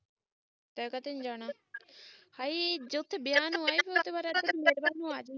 ਤੇ ਤਾ ਤੈਨੂੰ ਜਾਣਾ ਹਾਏ ਵਿਆਹ ਨੂੰ ਆਏ ਇਧਰ ਮੇਰੇ ਵੱਲ ਨੂੰ ਆਜੀ